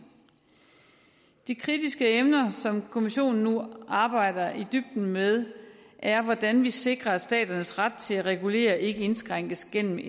de kritiske emner som kommissionen nu arbejder i dybden med er hvordan vi sikrer at staternes ret til at regulere ikke indskrænkes gennem